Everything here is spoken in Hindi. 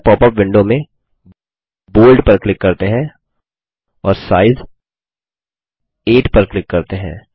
नये पॉपअप विंडो में बोल्ड पर क्लिक करते हैं और साइज 8 पर क्लिक करते हैं